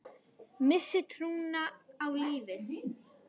Missti trúna á lífið.